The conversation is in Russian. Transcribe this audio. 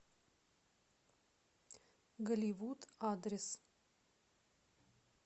голливуд адрес